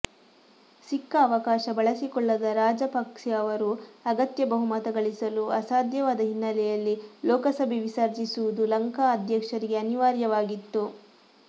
ಸಿಕ್ಕ ಅವಕಾಶ ಬಳಸಿಕೊಳ್ಳದ ರಾಜಪಕ್ಸೆ ಅವರು ಅಗತ್ಯ ಬಹುಮತ ಗಳಿಸಲು ಅಸಾಧ್ಯವಾದ ಹಿನ್ನೆಲೆಯಲ್ಲಿ ಲೋಕಸಭೆ ವಿಸರ್ಜಿಸುವುದು ಲಂಕಾ ಅಧ್ಯಕ್ಷರಿಗೆ ಅನಿವಾರ್ಯವಾಗಿತ್ತು